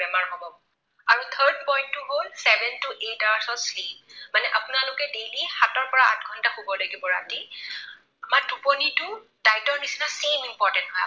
Point টো হল seven to eight hours ৰ sleep মানে আপোনালোকে daily সাতৰ পৰা আঠ ঘণ্টা শুব লাগিব ৰাতি। আমাৰ টোপনিটো diet ৰ নিচিনা important হয়